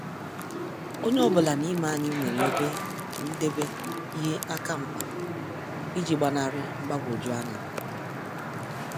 Onye ọ bụla n'ime anyị nwere ebe ndebe ihe akamkpa iji gbanari mgbagwoju anya.